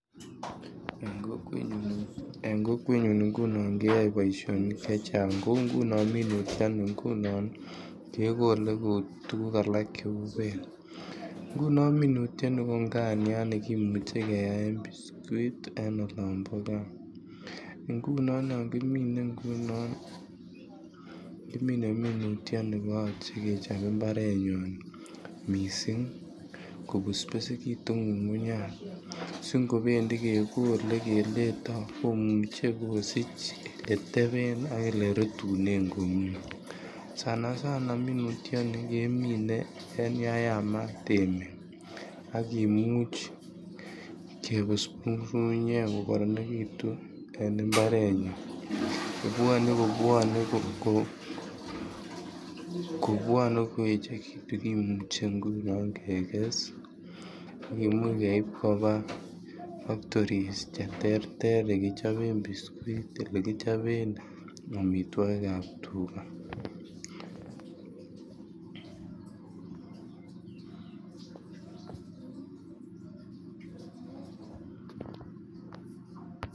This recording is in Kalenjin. En kokwenyun ngunon keyoe boisioni chechang kouu ngunon minutioni ngunon kekole kouu tuguk alak che uu beek. Ngunon minutioni ko nganiat nekimuche keyaen biskut ii en olombo gaa, ngunon yon kimine ngunon kimine minutioni ko yoche kochob imbarenyun missing, ko besbesekitun ngungunyat si ngobendi kegole keleto komuche kosich yeteben ak ele rutunen komie, sana sana minutioni kemine en yan yamat emet ak kimuch kebusbus ngungunyek ko koronekitun en imbarenyun kobwone kobwone ko kobwone ko echekitun kimuche ngunon keges ak kimuch keib kobaa factories che terter che kichoben biskuit ele kichoben omitwokik ab tuga.